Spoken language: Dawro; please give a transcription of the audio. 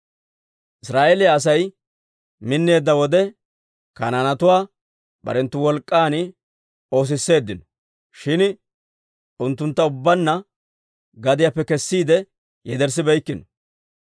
Israa'eeliyaa Asay minneedda wode, Kanaanetuwaa barenttu wolk'k'an oosisseeddino; shin unttuntta ubbaanna gadiyaappe kessiide yederssibeykkino.